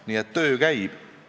Nii et töö käib.